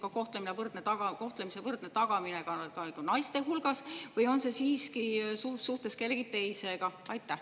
Ja kas see on võrdse kohtlemise tagamine ka naiste hulgas või on see siiski kellegi teise suhtes?